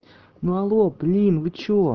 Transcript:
но алло блин вы что